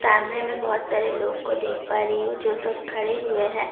کیمرے میں بہت سارے لوگ کو دیکھ پا رہی ہوں جو سب کھڑے ہوئے ہیں-